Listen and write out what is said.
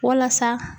Walasa